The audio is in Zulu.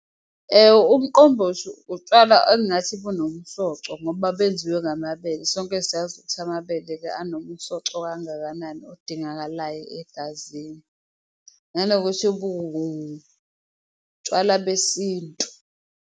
Umqombothi utshwala engathi bunomsoco ngoba benziwe ngamabele, sonke siyazi ukuthi amabele-ke anomsoco kangakanani odingakalayo egazini, nanokuthi buwutshwala besintu.